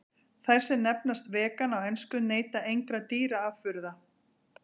Þær sem nefnast vegan á ensku neyta engra dýraafurða.